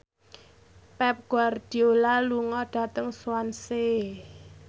Pep Guardiola lunga dhateng Swansea